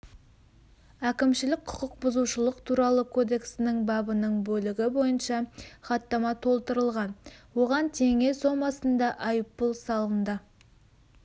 әкімшілік құқық бұзушылық туралы кодексінің бабының бөлігі бойынша хаттама толтырылған оған теңге сомасында айыппұл салынды